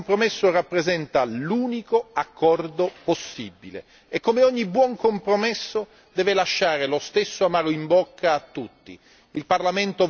A mio avviso, tale compromesso rappresenta l'unico accordo possibile e come ogni buon compromesso deve lasciare lo stesso amaro in bocca a tutti.